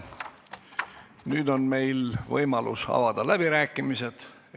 Nüüd on võimalus avada läbirääkimised.